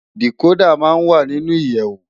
Dikódà má n wá ninú iyèwó